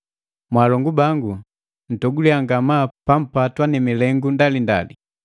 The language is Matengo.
“Mwaalongu bangu, mtoguliya ngamaa pampatwa na milengu ndalindali,